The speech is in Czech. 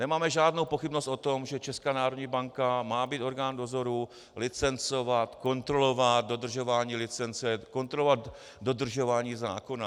Nemáme žádnou pochybnost o tom, že Česká národní banka má být orgán dozoru, licencovat, kontrolovat dodržování licence, kontrolovat dodržování zákona.